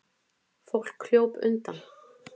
Fólk hljóp undan.